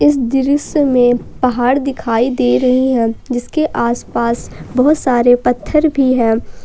इस दृश्य में पहाड़ दिखाई दे रही है जिसके आसपास बहुत सारे पत्थर भी हैं।